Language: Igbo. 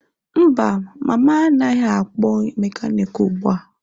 Mba, mama anaghị akpọ mekaniki ugbu a.